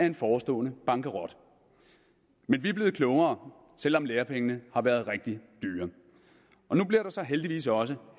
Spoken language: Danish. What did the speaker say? en forestående bankerot men vi er blevet klogere selv om lærepengene har været rigtig dyre og nu bliver der så heldigvis også